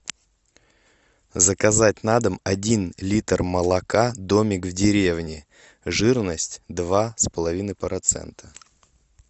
заказать на дом один литр молока домик в деревне жирность два с половиной процента